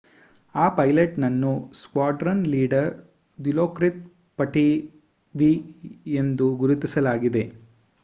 ಆ ಪೈಲಟ್‌ನನ್ನು squadron leader Dilokrit Pattavee ಎಂದು ಗುರುತಿಸಲಾಗಿದೆ